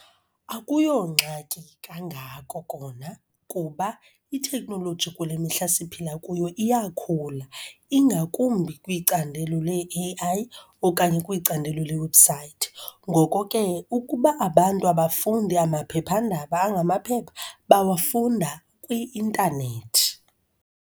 Akuyongxaki kangako kona kuba iteknoloji kule mihla siphila kuyo iyakhula, ingakumbi kwicandelo lee-A_I okanye kwicandelo leewebhusayithi. Ngoko ke ukuba abantu abafundi amaphephandaba angamaphepha, bawafunda kwi-intanethi.